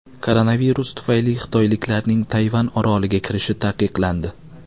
Koronavirus tufayli xitoyliklarning Tayvan oroliga kirishi taqiqlandi.